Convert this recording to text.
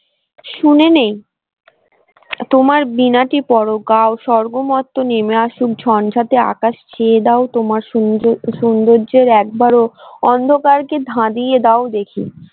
শুনে নেই তোমার বীণাটি পরো গাও স্বর্গ মর্ত নেমে আসুক ঝনঝাতে আকাশ ছেয়ে দাও তোমার সৌন্দর্যের একবারও অন্ধকার কে ধাদিয়ে দাও দেখি।